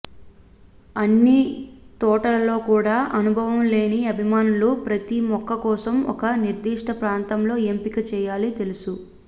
అన్ని తోటలలో కూడా అనుభవం లేని అభిమానులు ప్రతి మొక్క కోసం ఒక నిర్దిష్ట ప్రాంతంలో ఎంపిక చేయాలి తెలుసు